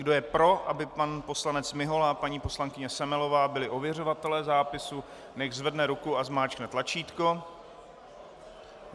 Kdo je pro, aby pan poslanec Mihola a paní poslankyně Semelová byli ověřovatelé zápisu, nechť zvedne ruku a zmáčkne tlačítko.